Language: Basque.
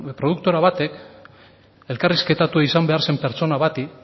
produktora bateak elkarrizketatua izan behar zen pertsona bati